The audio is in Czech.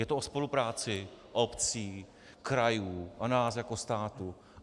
Je to o spolupráci obcí, krajů a nás jako státu.